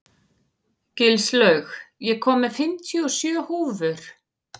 Gilslaug, ég kom með fimmtíu og sjö húfur!